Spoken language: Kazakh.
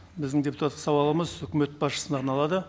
біздің депутаттық сауалымыз үкімет басшысына арналады